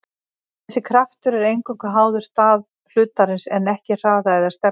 þessi kraftur er eingöngu háður stað hlutarins en ekki hraða eða stefnu